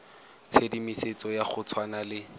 tshedimosetso ya go tshwana le